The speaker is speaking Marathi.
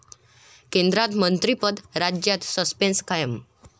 केंद्रात मंत्रिपद, राज्यात सस्पेंस कायम